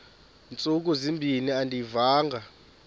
ntsuku zimbin andiyivanga